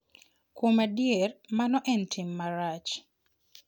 Kuom adier, mano en tim marach.